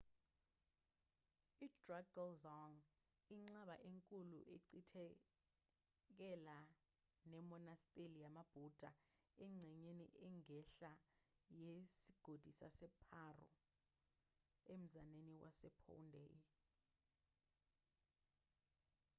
i-drukgyal dzong inqaba enkulu echithakele nemonasteli yamabhuda engxenyeni engenhla yesigodi saseparo emzaneni wasephondey